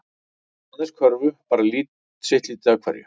Aðeins körfu bara sitt lítið af hverju